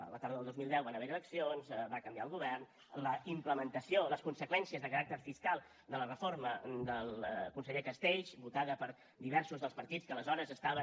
a la tardor del dos mil deu van haver hi eleccions va canviar el govern la implementació les conseqüències de caràcter fiscal de la reforma del conseller castells votada per diversos dels partits que aleshores estaven